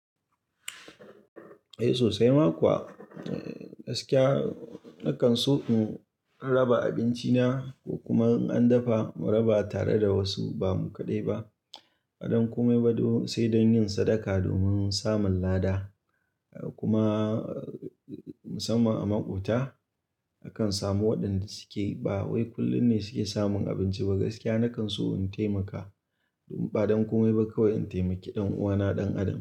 Eh sosai ma kuwa. Gaskiya nakan so in raba abinci na kuma in an dafa mu raba tare da wasu ba mu kaɗai ba. Ba don ko mai ba sai don yin sadaka domin samun lada kuma musamman a maƙwabta akan samu waɗanda suke ba wai kullum ne suke samun abinci ba. Gaskiya nakan so in taimaka ba don komi ba kawai in taimaki ɗan uwana ɗan Adam.